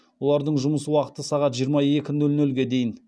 олардың жұмыс уақыты сағат жиырма екі нөл нөлге дейін